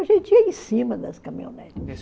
A gente ia em cima das caminhonetes.